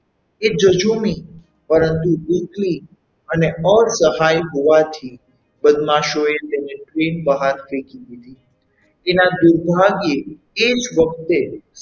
એ જજુમી પરંતુ એકલી અને અસહાય હોવાથી બદમાશોએ તેને train બહાર ફેંકી દીધી તેના દુરભાગ્યે એ જ વખતે,